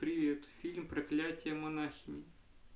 привет фильм проклятие монахини